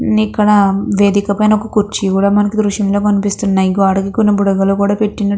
ఉమ్ ఇక్కడ వేదిక పైన ఒక కుర్చీ కూడా మనకు ఈ దృశ్యం లో కనిపిస్తున్నాయి. గోడకి కొన్ని బుడగలు కూడా పెట్టినట్టు --